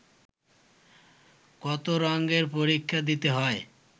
কত রঙ্গের পরীক্ষা দিতে হয়